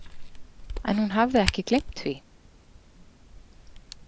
En hún hafði ekki gleymt því?